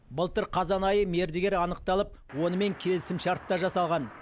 былтыр қазан айы мердігер анықталып онымен келісімшарт та жасалған